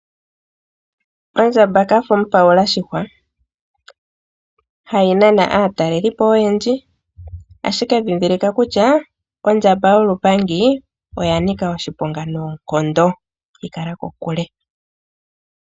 Onjamba kafa mupalula shihwa hayi nana aatalelipo oyendji ashike dhindhilika kutya ondjamba yolupandi oyanika oshiponga noonkondo yi kala kokule.